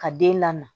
Ka den lamɔ